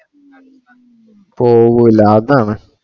പോകൂല്ല അതാണ്